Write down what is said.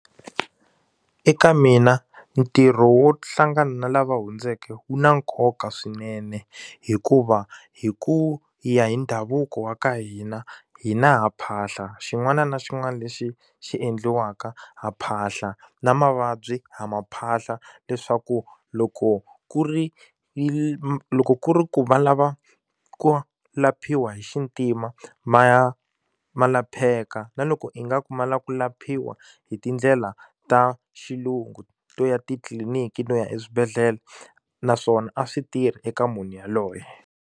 Eka mina ntirho wo hlangana na lava hundzeke wu na nkoka swinene hikuva hi ku ya hi ndhavuko wa ka hina hi na ha phahla xin'wana na xin'wana lexi xi endliwaka ha phahla na mavabyi ha ma phahla leswaku loko ku ri loko ku ri ku va lava ku laphiwa hi xintima ma ya ma lapheki na loko ingaku ma lava ku laphiwa hi tindlela ta xilungu to ya titliliniki no ya eswibedhlele naswona a swi tirhi eka munhu yaloye.